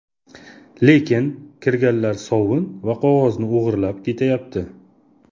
Lekin kirganlar sovun va qog‘ozni o‘g‘irlab ketyapti.